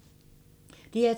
DR2